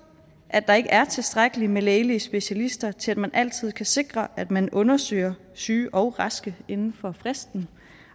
at der ikke er tilstrækkeligt med lægelige specialister til at man altid kan sikre at man undersøger syge og raske inden for fristen